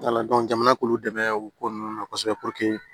jamana k'olu dɛmɛ u ko ninnu na kosɛbɛ